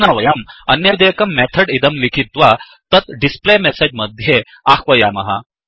अधुना वयं अन्यदेकं मेथड् इदं लिखित्वा तत् डिस्प्ले मेसेज् मध्ये आह्वयामः